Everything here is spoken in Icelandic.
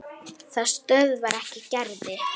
Það stöðvar ekki Gerði.